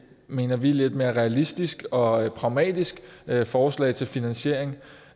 mener vi lidt mere realistisk og pragmatisk forslag til en finansiering